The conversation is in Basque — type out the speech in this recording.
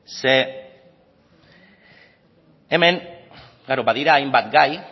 zeren hemen badira hainbat gai